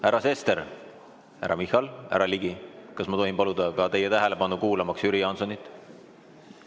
Härra Sester, härra Michal, härra Ligi, kas ma tohin paluda teie tähelepanu, kuulamaks Jüri Jaansonit?